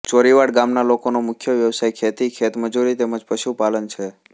ચોરીવાડ ગામના લોકોનો મુખ્ય વ્યવસાય ખેતી ખેતમજૂરી તેમ જ પશુપાલન છે